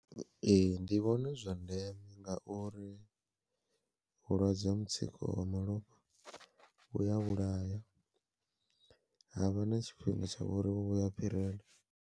Ee ndi vhona zwi zwa ndeme ngauri vhulwadze ha mutsiko wa malofha vhuya vhulaya, havha na tshifhinga tshavho uri vho vhuya fhirela.